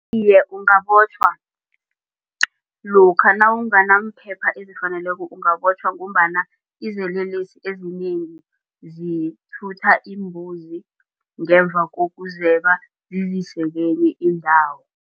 Iye, ungabotjhwa lokha nawunganamphepha ezifaneleko ungabotjhwa ngombana izelelesi ezinengi zithutha iimbuzi ngemva kokuzeba zizise kenye indawo.